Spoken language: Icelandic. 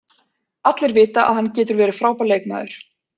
Allir vita að hann getur verið frábær leikmaður.